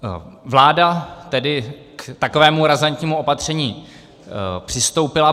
Vláda tedy k takovému razantnímu opatření přistoupila.